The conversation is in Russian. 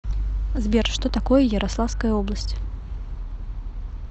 сбер что такое ярославская область